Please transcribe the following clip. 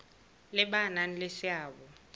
le ba nang le seabo